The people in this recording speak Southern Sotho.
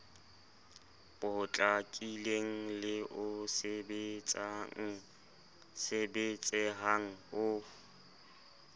potlakileng le o sebetsehang o